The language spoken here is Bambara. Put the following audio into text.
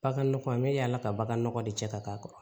Baganɔgɔ n bɛ yaala ka bagan nɔgɔ de cɛ ka k'a kɔrɔ